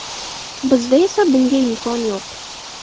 Bizda esa bunga imkon yo‘q.